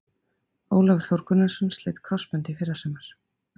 Ólafur Þór Gunnarsson sleit krossbönd í fyrrasumar.